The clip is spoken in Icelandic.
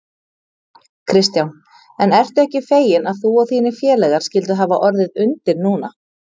Kristján: En ertu ekki feginn að þú og þínir félagar skylduð hafa orðið undir núna?